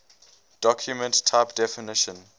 document type definition